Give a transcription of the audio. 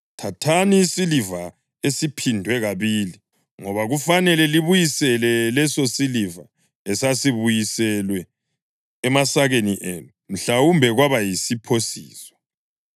Thathani isiliva esiphindwe kabili, ngoba kufanele libuyisele lesosiliva esasibuyiselwe emasakeni enu. Mhlawumbe kwaba yisiphosiso.